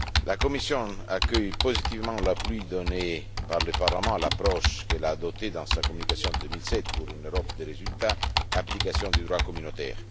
La Commission accueille positivement l'appui donné par le Parlement à l'approche qu'elle a adoptée dans sa communication de 2007 intitulée Pour une Europe des résultats application du droit communautaire.